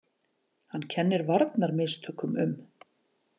Hann kennir varnarmistökum um.